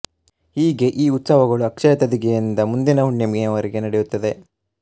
ಹೀಗೆ ಈ ಉತ್ಸವಗಳು ಅಕ್ಷಯ ತದಿಗೆಯಿಂದ ಮುಂದಿನ ಹುಣ್ಣಿಮೆಯವರೆಗೆ ನಡೆಯುತ್ತವೆ